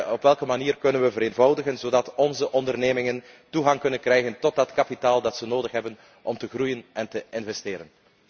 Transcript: Op welke manier kunnen we vereenvoudigen zodat onze ondernemingen toegang krijgen tot dat kapitaal dat ze nodig hebben om te groeien en te investeren?